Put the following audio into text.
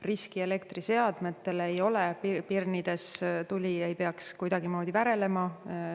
Riski elektriseadmetele ei ole, pirnides tuli ei peaks kuidagimoodi värelema.